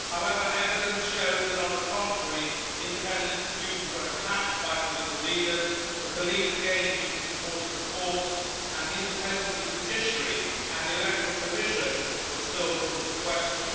However, evidence shows that, on the contrary, independent institutions were attacked by political leaders, the police again used disproportionate force and the independence of the judiciary and the Electoral Commission were still put into question.